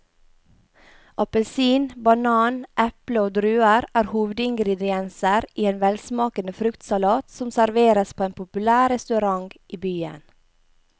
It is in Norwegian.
Appelsin, banan, eple og druer er hovedingredienser i en velsmakende fruktsalat som serveres på en populær restaurant i byen.